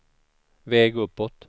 väg uppåt